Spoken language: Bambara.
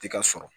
Ti ka sɔrɔ